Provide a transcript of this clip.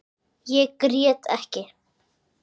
Ég grét ekki.